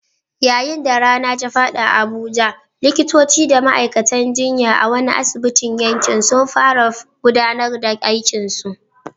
Yayin da rana ta faɗi a Abuja, likitoci da ma'aikatan jinya a wani asibitin yankin sun fara gudanar da aikinsu.